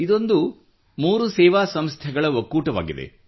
ಇದೊಂದು ಮೂರು ಸೇವಾ ಸಂಸ್ಥೆಗಳ ಒಕ್ಕೂಟವಾಗಿದೆ